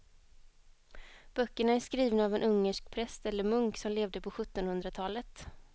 Böckerna är skrivna av en ungersk präst eller munk som levde på sjuttonhundratalet.